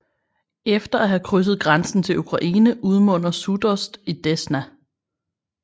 Efter at have krydset grænsen til Ukraine udmunder Sudost i Desna